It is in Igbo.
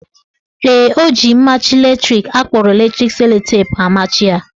Ee, o ji mmachi latrik akpọrọ electric sellotape amachi ya.